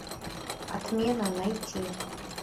отмена найти